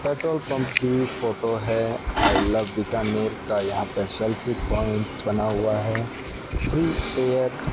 petrol pump की photo है I love Bikaner का यहां पर सेल्फी प्वाइंट बना हुआ है फ्री एयर --